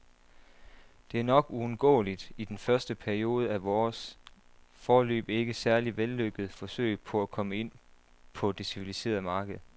Det er nok uundgåeligt i den første periode af vores, foreløbig ikke særlig vellykkede, forsøg på at komme ind på det civiliserede marked.